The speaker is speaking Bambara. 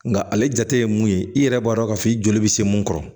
Nka ale jate ye mun ye i yɛrɛ b'a dɔn k'a fɔ i joli bɛ se mun kɔrɔ